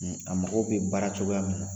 A mago bɛ baara cogoya min na.